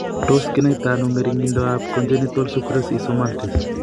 Tos kinaita ano ng'ering'indoab Congenital sucrase isomaltase?